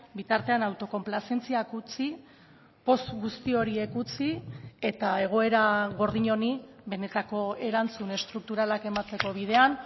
bitartean autokonplazentziak utzi poz guzti horiek utzi eta egoera gordin honi benetako erantzun estrukturalak emateko bidean